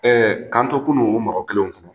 k'an kunun o mɔgɔ kelenw kun